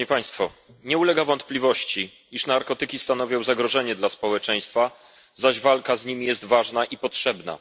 Nie ulega wątpliwości, iż narkotyki stanowią zagrożenie dla społeczeństwa, zaś walka z nimi jest ważna i potrzebna.